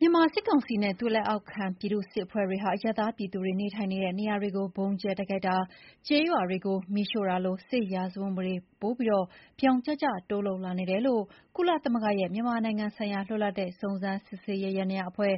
မြန်မာစစ်ကောင်စီနဲ့ သူ့လက်အောက်ခံ ပြည်သူ့စစ်အဖွဲ့တွေဟာ အရပ်သားပြည်သူတွေ နေထိုင်တဲ့နေရာတွေကို ဗုံးကြဲ တိုက်ခိုက်တာ၊ ကျေးရွာတွေကို မီးရှို့တာလို စစ်ရာဇဝတ်မှုတွေကို ပိုပြီး ပြောင်ကျကျ တိုးလုပ်လာနေတယ်လို့ ကုလသမဂ္ဂရဲ့ မြန်မာနိုင်ငံဆိုင်ရာ လွတ်လပ်တဲ့စုံစမ်းစစ်ဆေးရေး ယန္တရားအဖွဲ့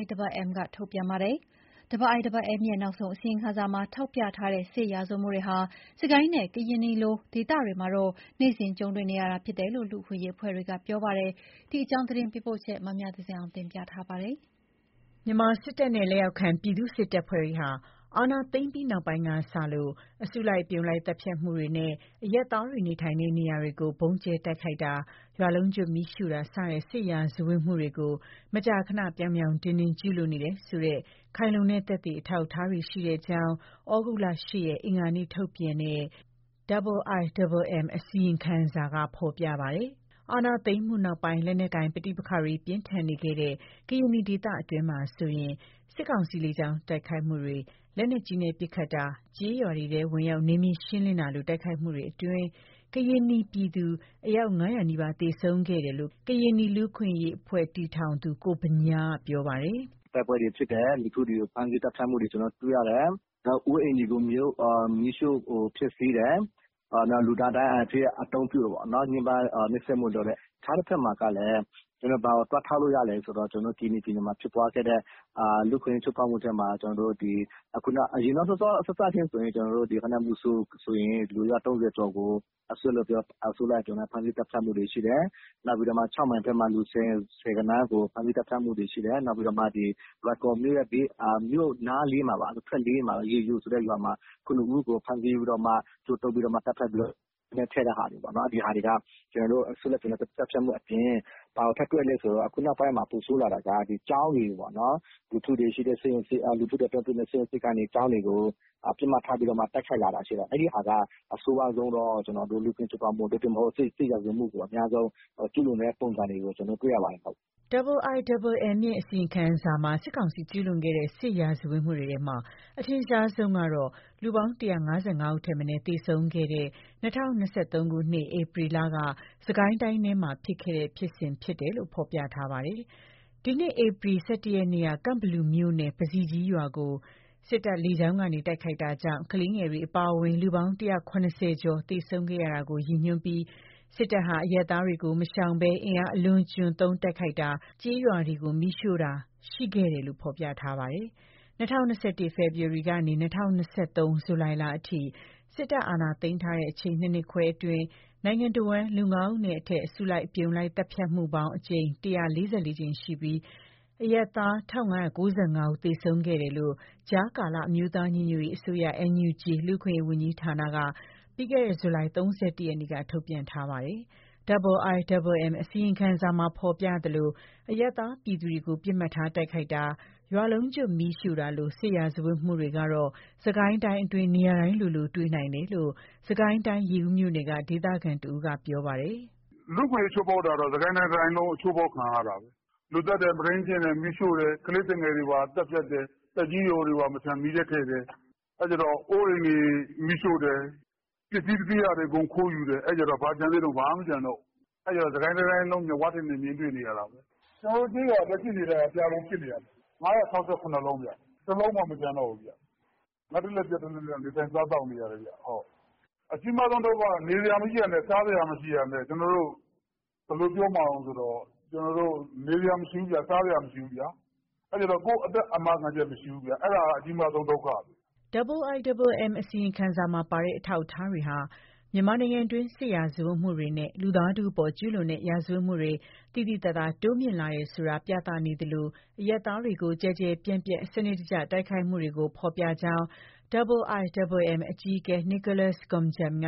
IIMM က ထုတ်ပြန်ပါတယ်။ IIMM ရဲ့ နောက်ဆုံးအစီရင်ခံစာမှာ ထောက်ပြထားတဲ့ စစ်ရာဇဝတ်မှုတွေဟာ စစ်ကိုင်းနဲ့ ကရင်နီလို ဒေသတွေမှာတော့ နေ့စဥ် ကြုံတွေ့နေရတာဖြစ်တယ်လို့ လူ့အခွင့်အရေး အဖွဲ့တွေက ပြောကြပါတယ်။ ဒီအကြောင်းသတင်းပေးပို့ချက်ကို မမြသဇင်အောင် က တင်ပြပေးထားပါတယ်။ မြန်မာစစ်တပ်နဲ့ လက်အောက်ခံ ပြည်သူ့စစ်တပ်ဖွဲ့တွေဟာ အာဏာသိမ်းပြီး နောက်ပိုင်းကစလို့ အစုလိုက်အပြုံလိုက် သတ်ဖြတ်မှုတွေနဲ့ အရပ်သားတွေ နေထိုင်တဲ့နေရာတွေကို ဗုံးကြဲတိုက်ခိုက်တာ၊ ရွာလုံးကျွတ်မီးရှို့တာ စတဲ့ စစ်ရာဇဝတ်မှုတွေကို မကြာခဏ ပြောင်ပြောင်တင်းတင်း ကျူးလွန်နေတယ် ဆိုတဲ့ ခိုင်လုံတဲ့ သက်သေအထောက်အထားတွေရှိတဲ့အကြောင်း သြဂုတ်လ ၈ ရက်၊ အင်္ဂါနေ့ကထုတ်ပြန်တဲ့ IIMM ရဲ့ အစီရင်ခံစာမှာ ဖော်ပြထားပါတယ်။ အာဏာသိမ်းမှုနောက်ပိုင်း လက်နက်ကိုင်ပဋိပက္ခတွေ ပြင်းထန်နေခဲ့တဲ့ကရင်နီ ဒေသတွင်းမှာဆိုရင် စစ်ကောင်စီရဲ့လေကြောင်း တိုက်ခိုက်မှုတွေ၊ လက်နက်ကြီးနဲ့ ပစ်ခတ်တာ၊ ကျေးရွာတွေထဲ ဝင်ရောက် နယ်မြေရှင်းလင်းတာလို တိုက်ခိုက်မှုတွေအတွင်း ကရင်နီပြည်သူ အယောက် ၅၀၀ နီးပါး သေဆုံးခဲ့ရတယ်လို့ ကရင်နီလူ့အခွင့်အရေးအဖွဲ့တည်ထောင်သူ ကိုဗညားက ပြောပါတယ်။ "တိုက်ပွဲတွေဖြစ်တယ်။ လူထုတွေကို ဖမ်းဆီးသတ်ဖြတ်တာတွေ ကျနော်တို့တွေ့ရတယ်။ နောက်အိုး အိမ်တွေကို မီးရှို့ဖျက်ဆီးတယ်။ နောက် လူသားဒိုင်းအနေနဲ့ အသုံးပြုတယ်။ ညှင်းပမ်း နှိပ်စက်တာတွေ လုပ်တယ်။ အခြားတဘက်မှာ ဘာကို ထောက်ပြလို့ရလဲဆိုတော့ ကရင်နီပြည်နယ်မှာဖြစ်ပွားခဲ့တဲ့ လူ့အခွင့်အရေး ချိုးဖောက်မှုဆိုရင် မိုဆို မှာ ဖြစ်ခဲ့တဲ့ လူအယောက် ၃၀ ကို အစုလိုက် အပြုံလိုက် ဖမ်းဆီးသတ်ဖြတ်တာတွေ ရှိတယ်။ နောက် ခြောက်မိုင်ဘက်မှာ လူ ဆယ်ဂဏန်း ဖမ်းဆီးသတ်ဖြတ်တာတွေ ရှိတယ်။ နောက် လွိုင်ကော်မြို့နားမှာ လူ ၇ ဦးကို ကြိုးတုပ်သတ်ဖြတ်ခဲ့တာတွေ၊ ဒါတွေက အစုလိုက်အပြုံလိုက်သတ်ဖြတ်မှုအပြင် ခုနောက်ပိုင်း ပိုဆိုးလာတာက ကျောင်းတွေအပြင် လူထုတွေရှိတဲ့ ဆေးရုံ ဆေးခန်းတွေကို ပစ်မှတ်ထား တိုက်ခိုက်လာတာက အဆိုးရွားဆုံးသော လူ့အခွင့်အရေး ချိုးဖောက်မှု၊ စစ်ရာဇဝတ်မှု ကျူးလွန်တဲ့ ပုံစံတွေကို တွေ့ရပါတယ်။" IIMM အစီရင်ခံစာမှာ စစ်ကောင်စီကျူးလွန်ခဲ့တဲ့စစ်ရာဇ၀တ်တွေထဲမှာ အထင်ရှားဆုံးကတော့ လူပေါင်း ၁၅၅ ဦးထက်မနည်း သေဆုံးခဲ့ရတဲ့ ၂၀၂၃ ခုနှစ် ဧပြီလက စစ်ကိုင်းတိုင်းထဲမှာ ဖြစ်ခဲ့တဲ့ဖြစ်စဉ်ဖြစ်တယ်လို့ ဖော်ပြထားပါတယ်။ ဒီနှစ် ဧပြီလ ၁၁ ရက်နေ့က ကန့်ဘလူမြို့နယ် ပဇီကြီးရွာကို စစ်တပ်က လေကြောင်းကနေ တိုက်ခိုက်တာကြောင့် ကလေးငယ်တွေအပါအဝင် လူပေါင်း ၁၇၀ ကျော် သေဆုံးခဲ့ရတာကို ရည်ညွှန်းပြီး စစ်တပ်ဟာ အရပ်သားတွေကိုမရှောင်ဘဲ အင်အား အလွန်အကျွံသုံးတိုက်ခိုက်တာ၊ ကျေးရွာတွေကို မီးရှို့တာတွေရှိခဲ့တယ်လို့ ဖော်ပြထားပါတယ်။ ၂၀၂၁ ဖေဖော်ဝါရီကနေ ၂၀၂၃ ဇူလိုင်လအထိ စစ်တပ်အာဏာသိမ်းထားတဲ့ အချိန် ၂ နှစ်ခွဲအတွင်း နိုင်ငံတဝန်းမှာ လူငါးဦးနဲ့အထက် အစုလိုက်အပြုံလိုက် သတ်ဖြတ်မှုပေါင်း ၁၄၄ ကြိမ်ရှိခဲ့ပြီး အရပ်သား ၁,၅၉၅ ဦး သေဆုံးခဲ့တယ်လို့ ကြားကာလ အမျိုးသားညီညွတ်ရေး အစိုးရ လူ့အခွင့်အရေးဝန်ကြီးဌာနကလည်း ပြီးခဲ့တဲ့ ဇူလိုင် ၃၁ရက်နေ့က ထုတ်ပြန်ထားပါတယ်။ IIMM အစီရင်ခံစာမှာ ဖော်ပြထားသလို အရပ်သား ပြည်သူတွေကို ပစ်မှတ်ထားတိုက်ခိုက်တာ၊ ရွာလုံးကျွတ်မီးရှို့တာလို စစ်ရာဇဝတ်မှုတွေ ကတော့ စစ်ကိုင်း တိုင်းအတွင်းမှာ နေရာတိုင်းလိုလို တွေ့နိုင်တယ်လို့ စစ်ကိုင်းတိုင်း ရေဦးမြိုကနယ်က ဒေသခံတဦးက ပြောပါတယ်။ "လူ့အခွင့်အရေးချိုးဖောက်ခံရတာတော့ စစ်ကိုင်းတိုင်းတတိုင်းလုံး ချိုးဖောက်ခံရတာ။ လူသတ်တယ်။ မုဒိန်းကျင့်တယ်။ မီးရှို့တယ်။ ကလေးသူငယ်တွေပါသတ်ဖြတ်တယ်။ သက်ကြီးရွယ်အိုတွေပါမီးထဲ ထည့်တယ်။ အိုးအိမ်တွေမီးရှို့တယ်။ ပစ္စည်းတွေခိုးတယ်။ အဲတော့ ဘာကျန်သေးလဲ။ စစ်ကိုင်းတိုင်းတတိုင်းလုံး မျက်ဝါးထင်ထင် တွေ့နေရတယ်။ ကျနော်တို့ကျေးရွာဆို လက်ရှိ အနေအထားက ပြာပုံဖြစ် နေတာ။ ၅၆၇ လုံး တလုံးမှ မကျန်တော့ဘူး။ ငတ်တလှည့်ပျက်တလှည့် နေထိုင်စားသောက်နေရတယ်။ အကြီးမားဆုံးဒုက္ခက နေစရာမရှိဘူးဗျာ။ စားစရာမရှိဘူးဗျာ။ ကိုယ့်အသက်အာမခံချက်မရှိဘူး။ အဲဒါအကြီးမားဆုံးဒုက္ခဘဲ။" IIMM အစီရင်ခံစာမှာပါတဲ့ အထောက်အထားတွေဟာ မြန်မာနိုင်ငံတွင်း စစ်ရာဇဝတ်မှုတွေနဲ့ လူသားထုအပေါ်ကျူးလွန်တဲ့ ရာဇဝတ်မှုတွေ သိသိသာသာ တိုးမြင့်လာနေတယ်ဆိုတာကို ပြသနေသလို အရပ်သားတွေကို ကျယ်ကျယ်ပြန့်ပြန့် စနစ်တကျ တိုက်ခိုက်မှုတွေကိုဖော်ပြနေကြောင်း IIMM အကြီးအကဲ Nicholas Koumjian က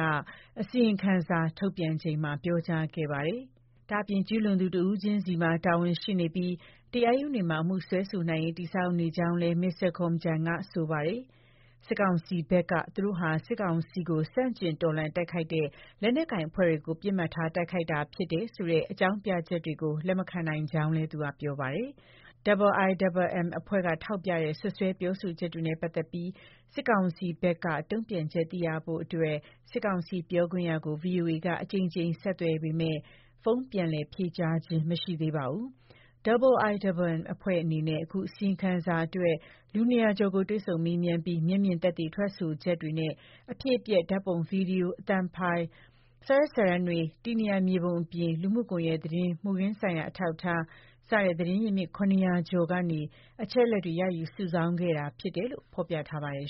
အစီရင်ခံစာ ထုတ်ပြန်ချိန်မှာ ပြောကြားခဲ့ပါတယ်။ ဒါ့ပြင် ကျူးလွန်သူတဦးချင်းစီမှာတာဝန်ရှိနေပြီး တရားရုံးတွေမှာ အမှုစွဲဆိုနိုင်ရေး တည်ဆောက်နေကြောင်းလည်း မစ္စတာ Koumjian က ဆိုပါတယ်။ စစ်ကောင်စီဘက်က သူတို့ဟာ စစ်ကောင်စီကို ဆန့်ကျင်တော်လှန်တိုက်ခိုက်နေတဲ့ လက်နက်ကိုင်အဖွဲ့တွေကို ပစ်မှတ်ထားတိုက်ခိုက်တာသာဖြစ်တယ်ဆိုတဲ့ အကြောင်းပြချက်တွေကို လက်မခံနိုင်ကြောင်းလည်း သူက ပြောပါတယ်။ IIMM အဖွဲ့က ထောက်ပြတဲ့ စွပ်စွဲ ပြောဆိုချက်တွေနဲ့ပတ်သက်ပြီး စစ်ကောင်စီဘက်က တုံ့ပြန်ချက်သိရဖို့အတွက် စစ်ကောင်စီပြောခွင့်ရကို ဗွီအိုအေက အကြိမ်ကြိမ်ဆက်သွယ်ပေမဲ့ ဖုန်းပြန်လည် ဖြေကြားခြင်း မရှိသေးပါဘူး။ IIMM အဖွဲ့အနေနဲ့ အခုစီရင်ခံစာအတွက် လူ ၂၀၀ ကျော်ကို တွေ့ဆုံမေးမြန်းပြီး မျက်မြင်သက်သေ ထွက်ဆိုချက်တွေနဲ့ အဖြစ်အပျက် ဓာတ်ပုံ၊ ဗွီဒီယို၊ အသံဖိုင်၊ စာရွက်စာတမ်းတွေ၊ တည်နေရာမြေပုံအပြင် လူမှုကွန်ရက်သတင်း၊ မှုခင်းဆိုင်ရာ အထောက်အထား စတဲ့ သတင်းရင်းမြစ် ၇၀၀ ကျော်ထံကနေ အချက်အလက်တွေ ရယူစုဆောင်းခဲ့တာ ဖြစ်တယ်လို့ ဖော်ပြထားပါတယ်